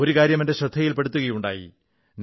ഒരു കാര്യം എന്റെ ശ്രദ്ധയിൽ പ്പെടുകയുണ്ടായി